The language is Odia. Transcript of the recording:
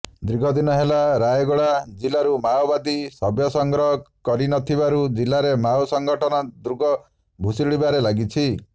ଦୀର୍ଘଦିନ ହେଲା ରାୟଗଡା ଜିଲ୍ଲାରୁ ମାଓବାଦୀ ସଭ୍ୟ ସଂଗ୍ରହ କରିନଥିବାରୁ ଜିଲ୍ଲାରେ ମାଓ ସଂଗଠନ ଦୁର୍ଗ ଭୁଶୁଡିବାରେ ଲାଗିଛି